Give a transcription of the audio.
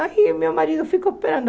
Aí meu marido ficou esperando.